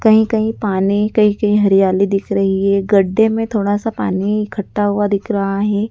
कहीं कहीं पानी कहीं कहीं हरियाली दिख रही है। गड्ढे में थोड़ा सा पानी इकठ्ठा हुआ दिख रहा है।